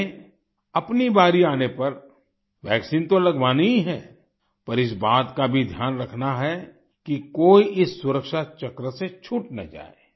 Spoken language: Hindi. हमें अपनी बारी आने पर वैक्सीन तो लगवानी ही है पर इस बात का भी ध्यान रखना है कि कोई इस सुरक्षा चक्र से छूट ना जाए